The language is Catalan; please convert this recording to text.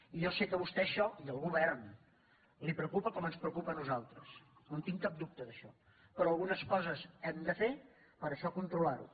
i jo sé que a vostè això i al govern li preocupa com ens preocupa a nosaltres no en tinc cap dubte d’això però algunes coses hem de fer per a això controlar ho